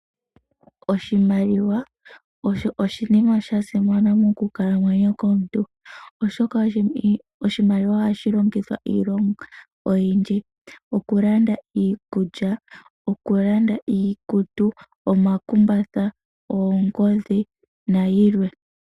Oshimaliwa osho oshinima shasimana mokukalamwenyo komuntu oshoka oshimaliwa ohashi longithwa okulanda iinima oyindji, okulanda iikulya, okulanda iikutu, omakumbatha, oongodhi nayilwe.